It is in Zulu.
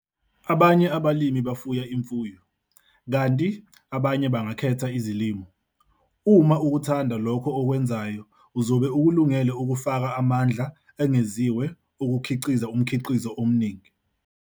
Abanye abalimi bafuye imfuyo, kanti amanye bangakhetha izilimo. Uma ukuthanda lokho okwenzayo uzobe ukulungele ukufaka amandla engeziwe okukhiqiza umkhiqizo omningi.